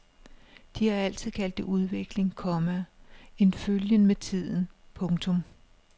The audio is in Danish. De har altid kaldt det udvikling, komma en følgen med tiden. punktum